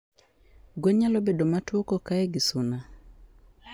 Gwen nyalo bedo matuo kokaye gi suna?